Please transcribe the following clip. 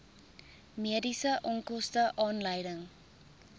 mediese onkoste aanleiding